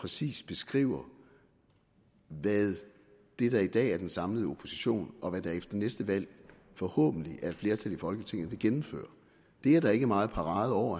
præcist beskriver hvad det der i dag er den samlede opposition og hvad det der efter næste valg forhåbentlig er et flertal i folketinget vil gennemføre det er der ikke meget parade over